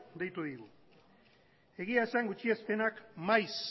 deitu digu egia esan gutxiespenak maiz